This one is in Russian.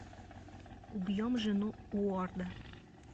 убьем жену уорда